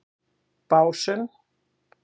Básum